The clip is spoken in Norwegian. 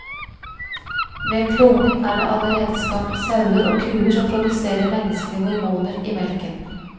Ved kloning er det allerede skapt sauer og kuer som produserer menneskelige hormoner i melken.